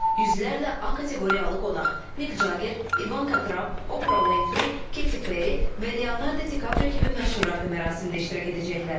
Yüzlərlə A kateqoriyalı qonaq Miq Cager, İvanka Tramp, Opra Winfrey, Keti Perri və Leonardo Di Kaprio kimi məşhurlar da mərasimdə iştirak edəcəklər.